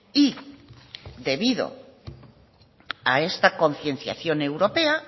y debido a esta concienciación europea